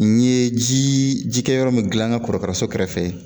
N ye ji jikɛyɔrɔ min dilan n ka kɔrɔkaraso kɛrɛfɛ